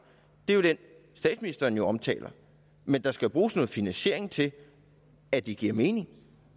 er jo den statsministeren omtaler men der skal bruges noget finansiering til at det giver mening